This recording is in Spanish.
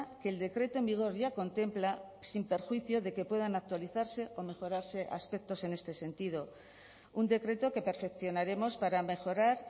que el decreto en vigor ya contempla sin perjuicio de que puedan actualizarse o mejorarse aspectos en este sentido un decreto que perfeccionaremos para mejorar